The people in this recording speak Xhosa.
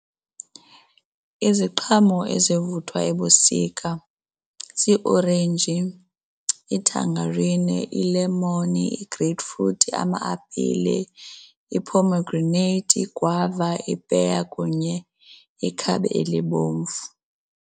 Iziqhamo ezivuthwa ebusika ziiorenji, ithangarini, ilemoni, ii-grapefruit, ama-apile, ii-pomegranate, iigwava, ipeya kunye ikhabe elibomvu.